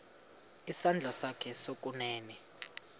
isandla sakho sokunene